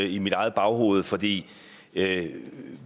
i mit eget baghoved fordi